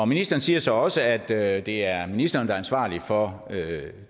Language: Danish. ministeren siger så også at at det er ministeren der er ansvarlig for